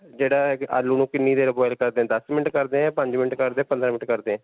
ਜਿਹੜਾ ਹੈ ਕਿ ਆਲੂ ਨੂੰ ਕਿੰਨੀ ਦੇਰ boil ਕਰਦੇ? ਦੱਸ minute ਕਰਦੇ ਹਾਂ, ਪੰਜ minute ਕਰਦੇ ਹਾਂ, ਪੰਦਰਾਂ minute ਕਰਦੇ ਹਾਂ.